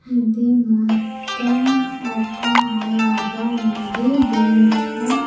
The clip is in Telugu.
ఇది మొత్తం ఒక హాల్ లాగా ఉంది దీంట్లో .]